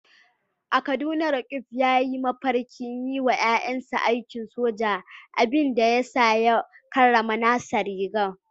A Kaduna, Roqeeb ya yi mafarkin yi wa ‘ya’yansa aikin soja, abin da ya sa ya karrama nasa rigar.